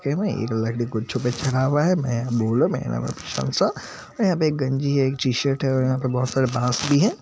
यहां पे एक गंजी है एक टी-शर्ट हैं और यहां पे बहुत सारे बांस भी है।